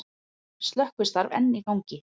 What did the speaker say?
Slökkvistarf enn í gangi